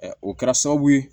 o kɛra sababu ye